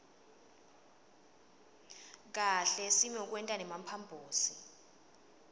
kahle simokwenta nemphambosi